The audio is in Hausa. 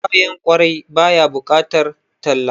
Kayan kwarai ba ya bukatar talla